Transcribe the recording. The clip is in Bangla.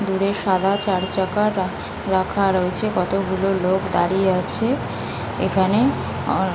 দূরে সাদা চার চাকা রাখা রয়েছে কতগুলো লোক দাঁড়িয়ে আছে। এখানে অ--